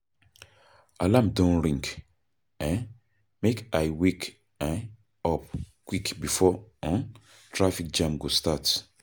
Alarm don ring, um make I wake um up quick before um traffic jam go start.